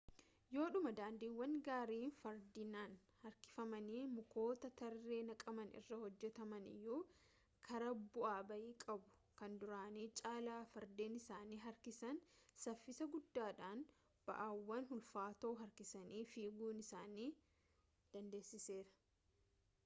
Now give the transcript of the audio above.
yoodhuma daandiiwwan gaarii fardeeniin harkifamanii mukoota tarree naqaman irraa hojjetaman iyyuu karaa bu'aa ba'ii qabu kan duraanii caalaa fardeen isaan harkisan saffisa guddaadhaan ba'aawwan ulfaatoo harkisanii fiiguu isaan dandeessiseera